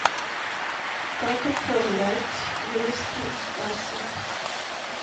как отправлять юнистрим касса